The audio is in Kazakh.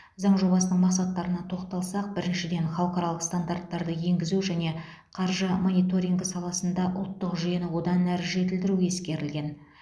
заң жобасының мақсаттарына тоқталсақ біріншіден халықаралық стандарттарды енгізу және қаржы мониторингі саласында ұлттық жүйені одан әрі жетілдіру ескерілген